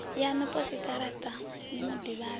yaṋu posikaraṱa ni mu ḓivhadze